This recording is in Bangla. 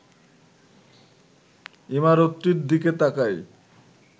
ইমারতটির দিকে তাকাই